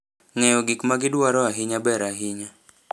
Ng'eyo gik ma gi dwaro ahinya ber ahinya.